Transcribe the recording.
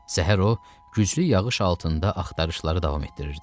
Səhər o güclü yağış altında axtarışları davam etdirirdi.